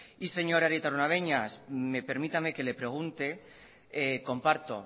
y señor arieta araunabeña permítame que le pregunte comparto